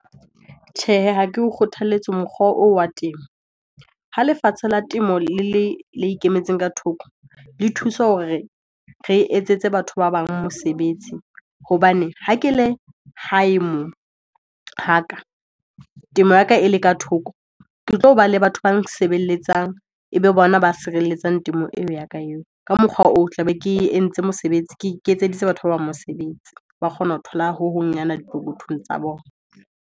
Tjhe, ha ke kgothaletswe mokgwa oo wa temo. Ha lefatshe la temo le le ikemetseng ka thoko, le thusa hore re etsetse batho ba bang mosebetsi hobane ha ke la hae mo ha ka, temo ya ka e le ka thoko. Ke tlo ba le batho ba nsebeletsang, e be bona ba sireletsang temo eo ya ka eo. Ka mokgwa oo tlabe ke entse mosebetsi, ke etseditse batho ba bang mosebetsi. Ba kgona ho thola ho hongnyana diphokothong tsa bona.